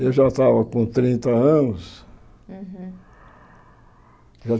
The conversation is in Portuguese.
Eu já estava com trinta anos. Uhum